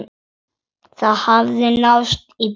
Það hafði náðst í böðul.